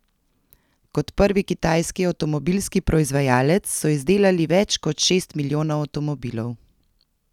Kot prvi kitajski avtomobilski proizvajalec so izdelali več kot šest milijonov avtomobilov.